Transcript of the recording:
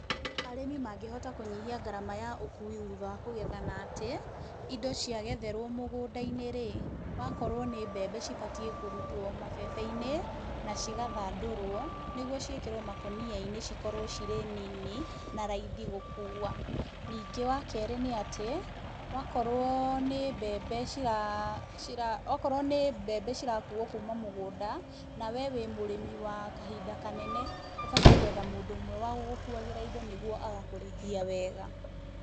Arĩmi mangĩhota kũnyihia ngarama ya ũkuui thutha wa kũgetha na atĩ, indo cia getherwo mũgũnda-inĩ rĩ, wakorwo nĩ mbembe cibatiĩ kũrutwo mabebe-inĩ, na cigathandũrwo, nĩguo ciĩkĩrwo makũnia-inĩ cikorwo cirĩ nini na raithi gũkuua. Ningĩ wa kerĩ nĩ atĩ, wakorwo nĩ mbembe cira cira, o korwo nĩ mbembe cira kuuwo kuuma mũgũnda, nawe wĩ mũrĩmi wa kahinda kanene, ũbatiĩ gũetha mũndũ ũmwe wa gũkũkuuwagĩra indo nĩkĩo agakũrĩhia wega.